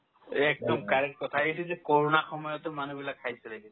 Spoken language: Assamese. একদম correct কথায়ে এইটো যে ক'ৰোণাৰ সময়তো মানুহবিলাক খাইছিলে যে